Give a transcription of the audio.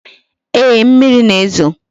Ee, mmiri na-ezo